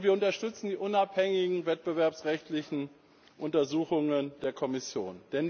Und wir unterstützen die unabhängigen wettbewerbsrechtlichen Untersuchungen der Kommission.